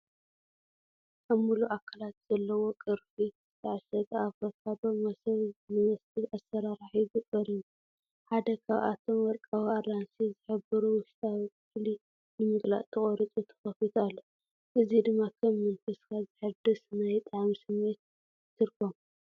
ኣብ ምሉእ ኣካላት ዘለዎ ቅርፊት ዝተዓሸገ ኣቮካዶ፡ መሶብ ዝመስል ኣሰራርሓ ሒዙ ቐሪቡ። ሓደ ካብኣቶም ወርቃዊ ኣራንሺ ዝሕብሩ ውሽጣዊ ክፍሊ ንምግላጽ ተቖሪጹ ተኸፊቱ ኣሎ፡ እዚ ድማ ከም መንፈስካ ዘሐድስ ናይ ጣዕሚ ስምዒት ይትርጎም።